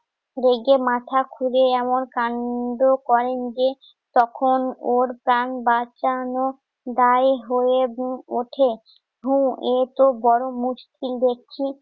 ধৈর্যের মাথা খুড়ে এমন কাণ্ড করেন যে, তখন ওর প্রাণ বাঁচানো দায় হয়ে উম উঠে। হু এ তো বড় মুশকিল দেখছি।